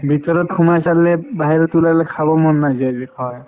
ভিতৰত সোমাই চালে বাহিৰত ওলালে খাব মন নাযায় যে